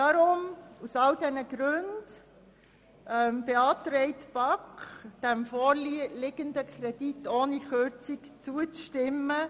Aus all diesen Gründen beantragt Ihnen die BaK, dem vorliegenden Kredit ohne Kürzung zuzustimmen.